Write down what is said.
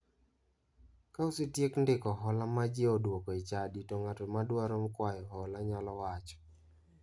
Ka osetiek ndiko hola ma ji odwoko e chadi to ng'ato madwaro kwayo hola nyalo wacho.